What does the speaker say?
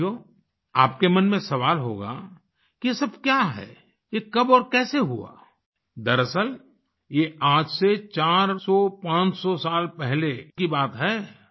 साथियो आपके मन में सवाल होगा कि ये सब क्या है ये कब और कैसे हुआ दरअसल ये आज से चार सौ पांच सौ साल पहले की बात है